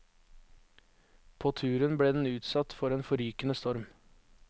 På turen ble den utsatt for en forrykende storm.